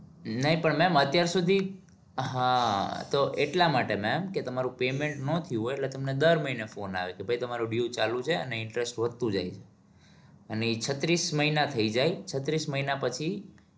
નહિ પણ ma'am અત્યાર સુધી હા તો એટલા માટે ma'am કે તમારું payment ન થયું હોય એટલે તમને દર મહિને phone આવે કે ભાઈ તમારું due ચાલુ છે અને interest વધતું જાય છે અને ઈ છત્રીસ મહિના થઇ જાય છત્રીસ મહિના પછી